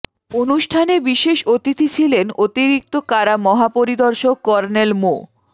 অনুষ্ঠানে বিশেষ অতিথি ছিলেন অতিরিক্ত কারা মহাপরিদর্শক কর্নেল মো